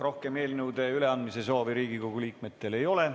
Rohkem eelnõude üleandmise soovi Riigikogu liikmetel ei ole.